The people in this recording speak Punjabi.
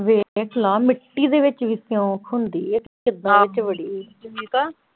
ਵੇਖ ਲਾ ਮਿਟੀ ਦੇ ਵਿੱਚ ਵੀ ਸਿਉਂਕ ਹੁੰਦੀ ਹੈ ਤੇ ਕਿੱਦਾਂ ਵਿੱਚ ਵੜੀ ਸੁਨੀਤਾ